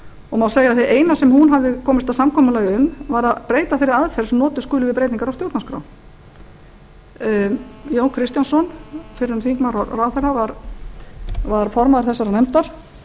og má segja að það eina sem hún hafi komist að samkomulagi um var að breyta þeirri aðferð sem notuð skuli við breytingar á stjórnarskrá jón kristjánsson fyrrverandi þingmaður og ráðherra var formaður þessarar nefndar